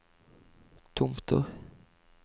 Tomter